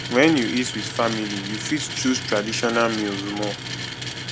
when you eat with family you fit choose traditional meals more